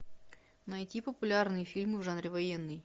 найти популярные фильмы в жанре военный